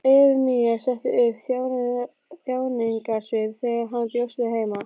Efemía setti upp þjáningarsvip þegar hann bjóst að heiman.